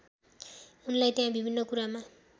उनलाई त्यहाँ विभिन्न कुरामा